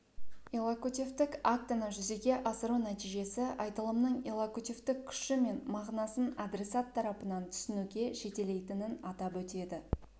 иллокутивтік актіні жүзеге асыру нәтижесі айтылымның иллокутивтік күші мен мағынасын адресат тарапынан түсінуге жетелейтінін атап өтеді